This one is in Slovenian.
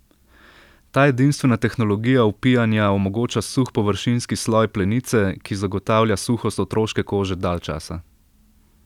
Ta edinstvena tehnologija vpijanja omogoča suh površinski sloj plenice, ki zagotavlja suhost otroške kože dalj časa.